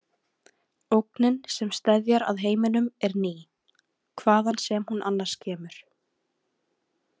Ógnin sem steðjar að heiminum er ný, hvaðan sem hún annars kemur.